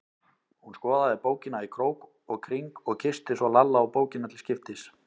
Hún skoðaði bókina í krók og kring og kyssti svo Lalla og bókina til skiptis.